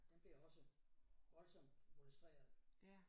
Den blev også voldsomt molesteret